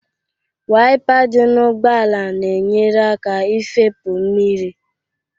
Wayịpa dị n'ụgbọala na-enyere aka ifepụ mmiri